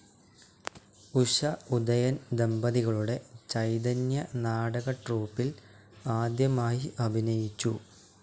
ഉഷ ഉദയൻ ദമ്പതികളുടെ ചൈതന്യ നാടക ട്രൂപ്പിൽ ആദ്യമായി അഭിനയിച്ചു.